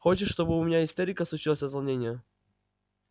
хочешь чтобы у меня истерика случилась от волнения